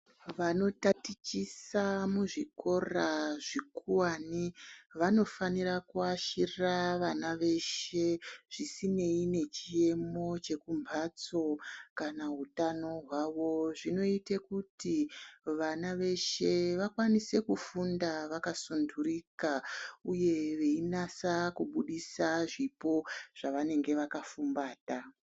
Vanotatichisa muzvikora zvikuwani vanofanira kuashira vana veshe zvisinei nechiyemo zvekumbatso kana hutano hwavo, zvinoita kuti vana veshe vakwanise kufunda vakasundurika uye vainasa kuburitsa zvipo zvavanenge vakafumbata.